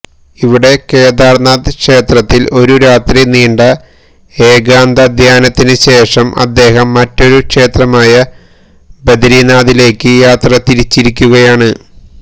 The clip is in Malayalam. ഇവിടെ കേദാർനാഥ് ക്ഷേത്രത്തിൽ ഒരു രാത്രി നീണ്ട ഏകാന്തധ്യാനത്തിന് ശേഷം അദ്ദേഹം മറ്റൊരു ക്ഷേത്രമായ ബദരിനാഥിലേക്ക് യാത്ര തിരിച്ചിരിക്കുകയാണ്